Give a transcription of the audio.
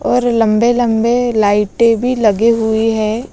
और लंबे-लंबे लाइटें भी लगे हुई हैं।